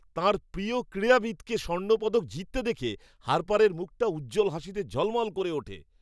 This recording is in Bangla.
তাঁর প্রিয় ক্রীড়াবিদকে স্বর্ণপদক জিততে দেখে হার্পারের মুখটা উজ্জ্বল হাসিতে ঝলমল করে ওঠে।